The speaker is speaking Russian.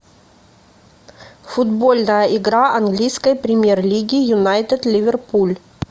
футбольная игра английской премьер лиги юнайтед ливерпуль